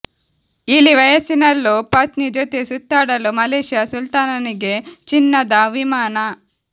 ಇಳಿ ವಯಸ್ಸಿನಲ್ಲೂ ಪತ್ನಿ ಜೊತೆ ಸುತ್ತಾಡಲು ಮಲೇಷ್ಯಾ ಸುಲ್ತಾನನಿಗೆ ಚಿನ್ನದ ವಿಮಾನ